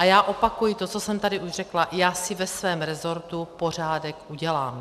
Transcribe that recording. A já opakuji to, co jsem tady už řekla: Já si ve svém resortu pořádek udělám.